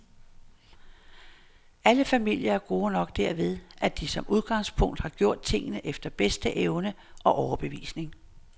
Alle familier er gode nok derved, at de som udgangspunkt har gjort tingene efter bedste evne og overbevisning.